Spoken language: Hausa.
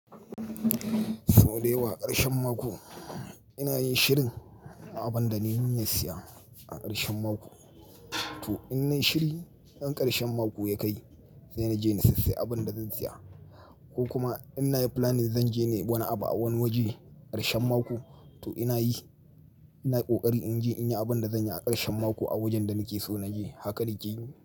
Sau da yawa ƙarshen mako ina yin shirin a abin da na yi niyyar siya a ƙarshen mako. To in na shiri ɗan ƙarshen mako ya kai sai na je na sassaye abin da zan siya ko kuma in na yi planning zan je ne wani abu a wani waje ƙarshen mako, to ina yi, ina kokari in je in yi abun da zan yi a ƙarshen mako a wajen da nake so na je. Haka nake yi.